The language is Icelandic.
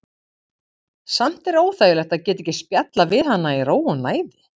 Samt er óþægilegt að geta ekki spjallað við hana í ró og næði.